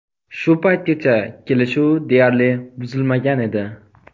Shu paytgacha kelishuv deyarli buzilmagan edi..